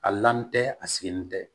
A lamu tɛ a sigilen tɛ